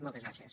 moltes gràcies